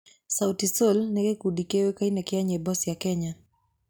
Sauti Sol nĩ gĩkundi kĩũĩkaine kĩa nyĩmbo cia Kenya.